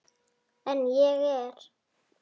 En ég er.